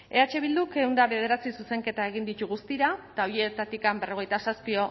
eh bilduk ehun eta bederatzi zuzenketa egin ditu guztira eta horietatik berrogeita zazpi